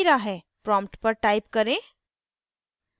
prompt पर type करें: